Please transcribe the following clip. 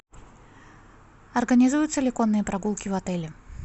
организуются ли конные прогулки в отеле